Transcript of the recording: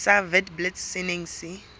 sa witblits se neng se